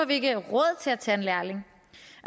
vi ikke råd til at tage en lærling